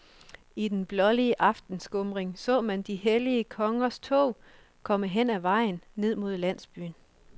I den blålige aftenskumring så man de hellige kongers tog komme hen ad vejen, ned mod landsbyen.